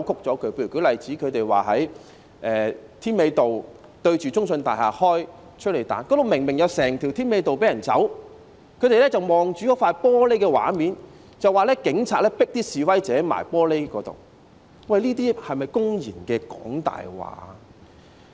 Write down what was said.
舉例說，他們指責警方在添美道中信大廈對岀的位置施放催淚彈，那裏明明有一整條添美道讓人群走避，但他們卻只看玻璃的畫面，說警察把示威者迫向玻璃，這些是否公然"講大話"？